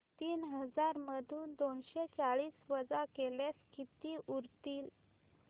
तीन हजार मधून दोनशे चाळीस वजा केल्यास किती उरतील